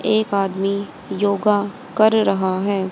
एक आदमी योगा कर रहा है।